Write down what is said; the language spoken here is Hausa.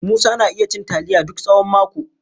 Musa na iya cin taliya duk tsawon mako.